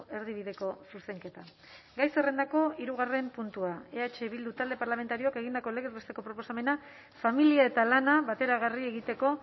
erdibideko zuzenketa gai zerrendako hirugarren puntua eh bildu talde parlamentarioak egindako legez besteko proposamena familia eta lana bateragarri egiteko